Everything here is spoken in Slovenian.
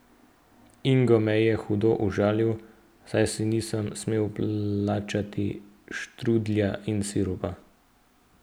Ingo me je hudo užalil, saj si nisem smel plačati štrudlja in sirupa.